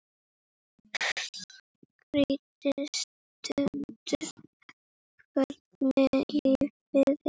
Skrítið stundum hvernig lífið er.